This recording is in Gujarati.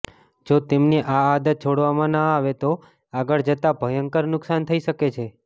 જો તેમની આ આદત છોડાવવામાં ન આવે તો આગળ જતાં ભયંકર નુકસાન થઈ શકે છે